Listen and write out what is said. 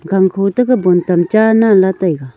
gangkho to ka bon tam cha nan la taga.